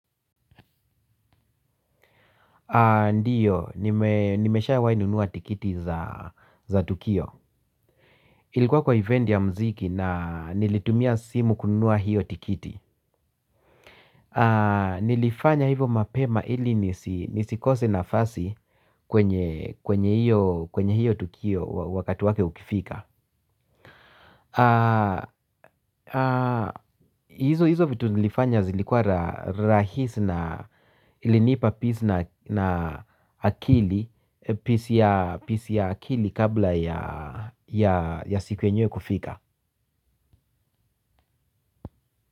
Ndiyo, nimeshawai nunua tikiti za Tukio. Ilikuwa kwa event ya mziki na nilitumia simu kununua hiyo tikiti. Nilifanya hivo mapema ili nisikose nafasi kwenye hiyo tukio wakati wake ukifika. Hizo hizo vitu nilifanya zilikuwa rahisi na ilinipa peace na akili Peace ya akili kabla ya siku yenyewe kufika.